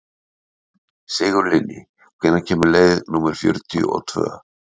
Sigurlinni, hvenær kemur leið númer fjörutíu og tvö?